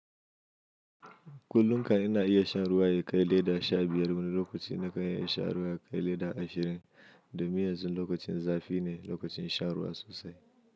Kullum kam ina iya shan ruwa ya kai leda sha biyar wani lokaci na kan iya shan ruwa ya kai leda ashirin do min yanzun lokacin zafi ne lokacin shan ruwa sosai.